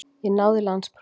Ég náði landsprófi.